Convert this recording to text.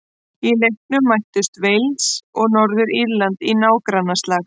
Í leiknum mættust Wales og Norður-Írland í nágrannaslag.